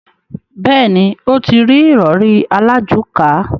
Bẹ́ẹ̀ni, ó ti rí ìrọrí alájùká.